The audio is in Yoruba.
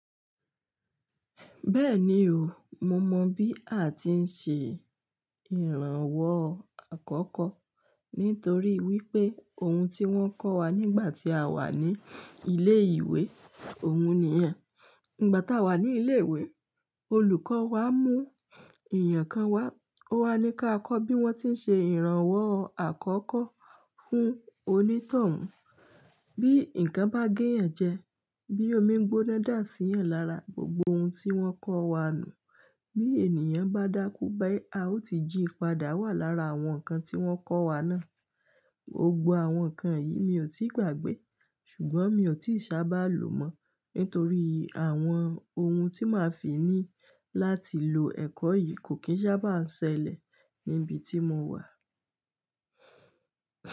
Bẹ́ẹ̀ni o, mo mọ̀ bí a ti ń ṣe ìrànwọ́ àkọ́kọ́ nítorí wípé ohun tí wọ́n kọ́ wa nígbà tí a wà ní ilé ìwé, òhun ni yẹ́n. Nígbà tá a wà ní ilé ìwé, olùkọ́ wa mú èyàn kan wá, ó wá ní ká kọ́ bí wọ́n ti ń ṣe ìrànwọ́ àkọ́kọ́ fún onítọ̀hún. Bí ǹkan bá gé ẹeyan jẹ, bí omi gbóná dà sí ẹeyan lára gbogbo ohun tí wọ́n kọ́ wa ni, bí ènìyàn bá dákú, bi a ó ti jí padà wá lára àwọn nǹkan tí wọ́n kọ́ wa náà. Gbògbò àwọn nǹkan yìí mi ò tíì gbàgbé, ṣùgbọ́n mi ò tí sì bá lò mọ́, nítorí àwọn ohun tí màá fi ní láti lo ẹ̀kọ́ yìí kò kín sá bá ń ṣẹlẹ̀ ní ibi tí mo wà.